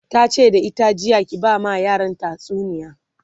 tace da ita jiya "ki ba ma yaran tatsuniya!"